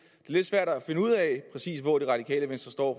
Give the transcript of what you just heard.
lidt svært at finde ud af præcis hvor det radikale venstre står